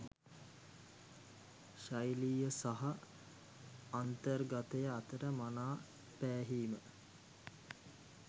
ශෛලිය සහ අන්තර්ගතය අතර මනා පෑහීම